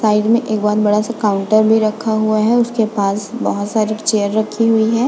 Side में एक बड़ा सा काउंटर भी रखा हुवा है उसके पास बहोत सारी चेयर रखे हुवे है।